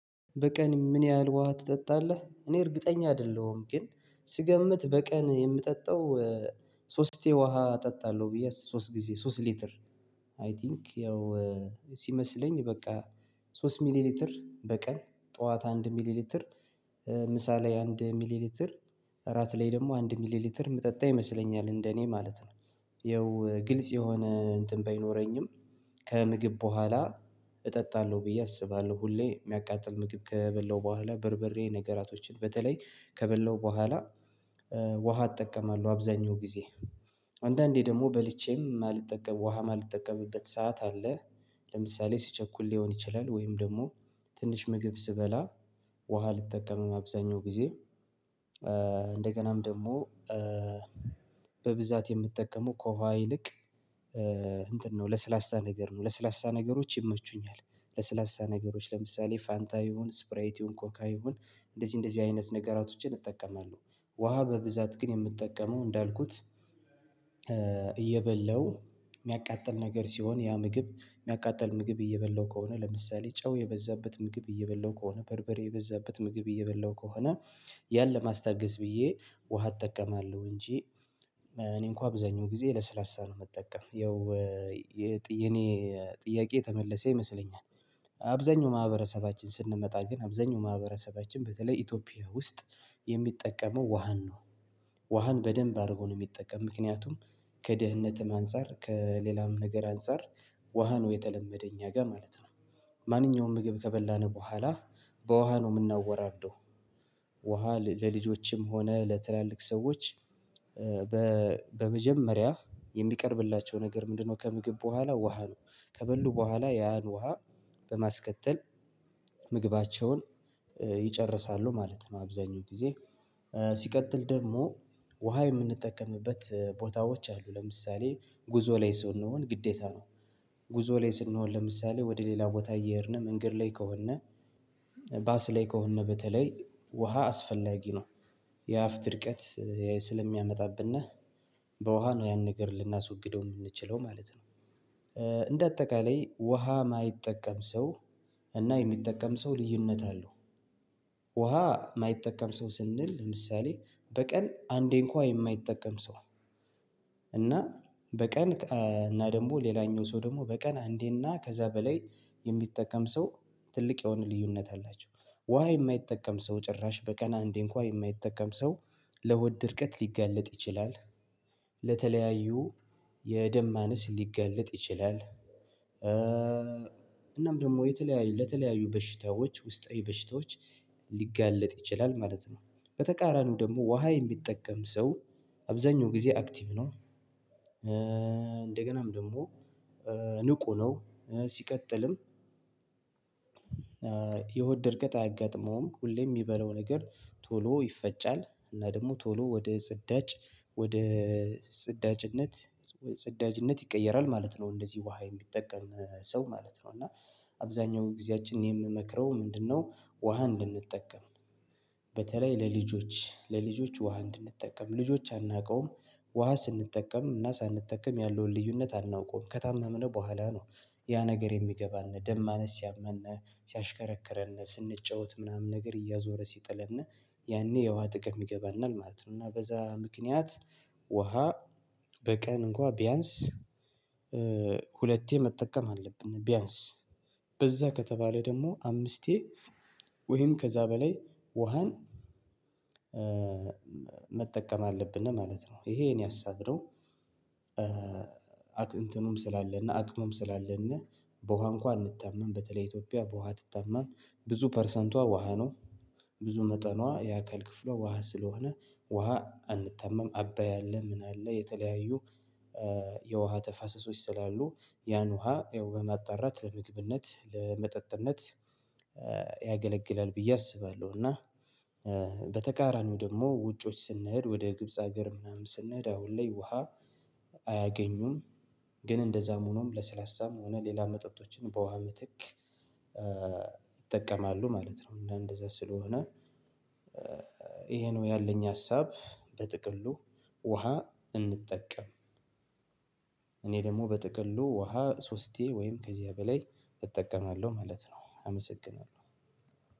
በቀን ምን ያህል ውሃ ትጠጣለህ? እኔ እርግጠኛ አይደለሁም ግን ስገምት በቀን የምጠጣው ሶስት ጊዜ ውሃ እጠጣለሁ ብዬ ሶስት ጊዜ ሶስት ሊትር አይ ቲንክ ያው ሲመስለኝ በቃ ሶስት ሚሊሊትር በቀን ጠዋት አንድ ሚሊሊትር ምሳ ላይ አንድ ሚሊሊትር ራት ላይ ደግሞ አንድ ሚሊሊትር የምጠጣ ይመስለኛል እንደ እኔ ማለት ነው ያው ግልጽ የሆነ እንትን በይኖረኝም ከምግብ በኋላ እጠጣለሁ ብዬ አስባለሁ ሁሌ የሚያቃጥል ምግብ ከበላሁ በኋላ በርበሬ ነገራቶችን በተለይ ከበላሁ በኋላ ውሃ እጠቀማለሁ አብዛኛው ጊዜ አንዳንዴ ደግሞ በልቼም የማልጠቀም ውሃ የማልጠቀምበት ሰዓት አለ ለምሳሌ ስቸኩል ሊሆን ይችላል ወይም ደግሞ ትንሽ ምግብ ስበላ ውሃ አልጠቀምም አብዛኛው ጊዜ ደግሞ በብዛት የምጠቀመው ከውሃ ይልቅ እንትን ነው ለስላሳ ነገር ነው ለስላሳ ነገሮች ይመቹኛል ለስላሳ ነገሮች ለምሳሌ ፋንታ ይሁን ስፕራይት ይሁን ኮካ ይሁን እንደዚህ እንደዚህ አይነት ነገራቶችን እጠቀማለሁ ውሃ በብዛት ግን የምትጠቀመው እንዳልኩት እየበለው የሚያቃጥል ነገር ሲሆን ያ ምግብ የሚያቃጥል ምግብ እየበለሁ ከሆነ ለምሳሌ ጨው የበዛበት ምግብ እየበላሁ ከሆነ በርበሬ የበዛበት ምግብ እየበላሁ ከሆነ ያን ለማስታገስ ብዬ ውሃ እጠቀማለሁ እንጂ እኔ እንኳ አብዛኛው ጊዜ ለስላሳ ነው ምጠቀም ያው የኔ ጥያቄ የተመለሰ ይመስለኛል አብዛኛው ማህበረሰባችን ስንመጣ ግን አብዛኛው ማህበረሰባችን በተለይ ኢትዮጵያ ውስጥ የሚጠቀመው ውሃን ነው ውሃን በደንብ አድርጎ ነው የሚጠቀም ምክንያቱም ከድህነትም አንፃር ከሌላም ነገር አንፃር ውሃ ነው የተለመደ እኛ ጋር ማለት ነው ማንኛውም ምግብ ከበላን በኋላ በውሃ ነው የምናወራርደው ውሃ ለልጆችም ሆነ ለትላልቅ ሰዎች በመጀመሪያ የሚቀርብላቸው ነገር ምንድነው ከምግብ በኋላ ውሃ ነው ከበሉ በኋላ ያን ውሃ በማስከተል ምግባቸውን ማለት ነው አብዛኛው ጊዜ ሲቀጥል ደግሞ ውሃ የምንጠቀምበት ቦታዎች አሉ ለምሳሌ ጉዞ ላይ ስንሆን ግዴታ ነው ጉዞ ላይ ስንሆን ለምሳሌ ወደ ሌላ ቦታ እየሄድን መንገድ ላይ ከሆነ ባስ ላይ ከሆነ በተለይ ውሃ አስፈላጊ ነው የአፍ ድርቀት ስለሚያመጣብነ በውሃ ነው ያን ነገር ልናስወግደው የምንችለው ማለት ነው እንደ አጠቃላይ ውሃ የማይጠቀም ሰው እና የሚጠቀም ሰው ልዩነት አለው ውሃ የማይጠቀም ሰው ስንል ለምሳሌ በቀን አንዴ እንኳን የማይጠቀም ሰው እና በቀን እና ደግሞ ሌላኛው ሰው ደግሞ በቀን አንዴና ከዛ በላይ የሚጠቀም ሰው ትልቅ የሆነ ልዩነት አላቸው ውሃ የማይጠቀም ሰው ጭራሽ በቀን እንዴ እንኳ የማይጠቀም ሰው ለሆድ ድርቀት ሊጋለጥ ይችላል ለተለያዩ የደም ማነስ ሊጋለጥ ይችላል እናም ደግሞ የተለያዩ ለተለያዩ በሽታዎች ውስጣዊ በሽታዎች ሊጋለጥ ይችላል ማለት ነው በተቃራኒው ደግሞ ውሃ የሚጠቀም ሰው አብዛኛው ጊዜ አክቲቭ ነው እንደገናም ደግሞ ንቁ ነው ሲቀጥልም የሆድ ድርቀት አያጋጥመውም ሁሌ የሚበላው ነገር ቶሎ ይፈጫል እና ደግሞ ቶሎ ወደ ጽዳጅ ወደ ጽዳጅነት ጽዳጅነት ይቀየራል ማለት ነው እንደዚህ ውሃ የሚጠቀም ሰው ማለት ነው እና አብዛኛው ጊዜያችን የምመክረው ምንድነው ውሃ እንድንጠቀም በተለይ ለልጆች ለልጆች ውሃ እንድንጠቀም ልጆች አናውቀውም ውሃ ስንጠቀም እና ሳንጠቀም ያለውን ልዩነት አናውቀውም ከታመምነ በኋላ ነው ያ ነገር የሚገባን ደም ማነስ ሲያመነ ሲያሽከረክረን ስንጫወት ምናምን ነገር እያዞረ ሲጥለነ ያኔ የውሃ ጥቅም ይገባናል ማለት ነው እና በዛ ምክንያት ውሃ በቀን እንኳን ቢያንስ መጠቀም አለብን ቢያንስ በዛ ከተባለ ደግሞ አምስቴ ወይም ከዛ በላይ ውሃን መጠቀም አለብን ማለት ነው ይሄ ሀሳብ ነው እንትኑም ስላለነ አቅሙም ስላለነ በውሃ እንኳን አንታማም በተለይ ኢትዮጵያ በውሃ አትታማም ብዙ ፐርሰንቷ ውሃ ነው ብዙ መጠኗ የአካል ክፍሏ ውሃ ስለሆነ ውሃ አንታማም አባይ አለ ምን አለ የተለያዩ የውሃ ተፋሰሶች ስላሉ ያን ውሃ ያው በማጣራት ለምግብነት ለመጠጥነት ያገለግላል ብዬ አስባለሁ እና በተቃራኒው ደግሞ ውጮች ስንሄድ ወደ ግብጽ ሀገር ምናምን ስንሄድ አሁን ላይ ውሃ አያገኙም ግን እንደዛም ሆኖም ለስላሳም የሆነ ሌላ መጠጦችን በውሃ ምትክ ይጠቀማሉ ማለት ነው እንደዛ ስለሆነ ይሄ ነው ያለኝ ሀሳብ በጥቅሉ ውሃ እንጠቀም እኔ ደግሞ በጥቅሉ ውሃ ሶስቴ ወይም ከዚያ በላይ እጠቀማለሁ ማለት ነው አመሰግናለሁ